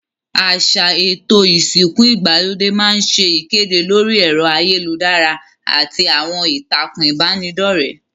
Àsà èto ìsìnku ìgbàlódé ma n se ìkédè lórí èro ayélujárá àti àwon ìtàkùn ìbànidọ́rẹ́